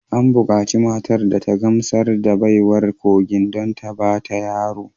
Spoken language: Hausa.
An bukaci matar da ta gamsar da baiwar kogin don ta ba ta yaro